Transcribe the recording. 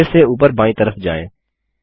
फिर से ऊपर बायीं तरफ जायें